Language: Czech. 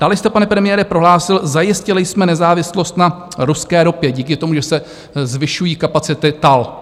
Dále jste pane premiére, prohlásil - zajistili jsme nezávislost na ruské ropě díky tomu, že se zvyšují kapacity TAL.